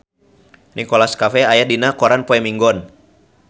Nicholas Cafe aya dina koran poe Minggon